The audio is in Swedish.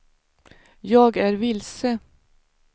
jag är vilse